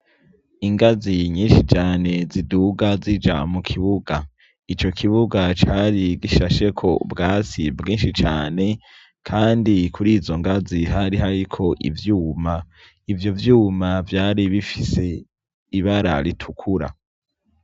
Ingazi nyinshi cane ziduga zija mu kibuga. Ico kibuga cari gishasheko ubwasi bwinshi cane, kandi kuri izo ngazi hari hariko ivyuma, ivyo vyuma vyari bifise ibara ritukura.